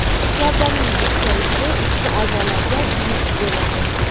Gavdaning bukchayishi, ichki a’zolarga yuk bo‘ladi.